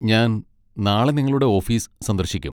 ഞാൻ നാളെ നിങ്ങളുടെ ഓഫീസ് സന്ദർശിക്കും.